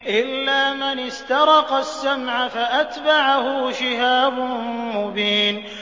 إِلَّا مَنِ اسْتَرَقَ السَّمْعَ فَأَتْبَعَهُ شِهَابٌ مُّبِينٌ